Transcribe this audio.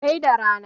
sai da rana